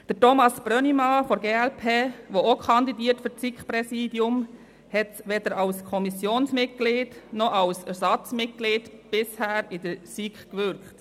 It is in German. Thomas Brönnimann von der glp, der ebenfalls für das SiK-Präsidium kandidiert, hat weder als Kommissionsmitglied noch als Ersatzmitglied bisher in der SiK gewirkt.